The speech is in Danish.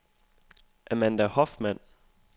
Amanda Hoffmann